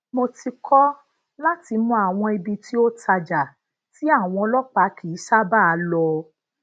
mo ti ko láti mọ àwọn ibi tí o taja tí àwọn ọlópàá kì í sábàa lo